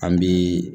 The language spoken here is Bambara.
An bi